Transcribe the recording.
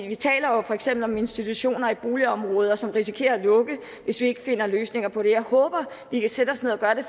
vi taler jo for eksempel om institutioner i boligområder som risikerer at lukke hvis vi ikke finder løsninger på det jeg håber vi kan sætte os ned og gøre det